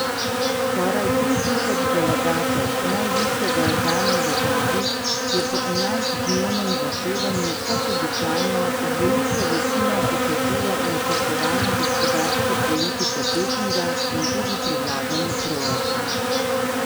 Skoraj tri tisoč delegatov najvišjega organa v državi je po enajstdnevnem zasedanju kot običajno z veliko večino potrdilo načrtovano gospodarsko politiko Pekinga in tudi predlagani proračun.